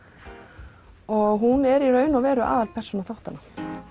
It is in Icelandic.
og hún er í raun og veru aðalpersóna þáttanna